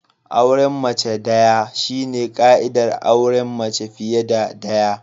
Auren mace daya shine ka'idar auren mace fiye da daya.